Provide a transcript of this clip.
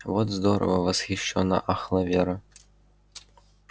вот здорово восхищённо ахала вера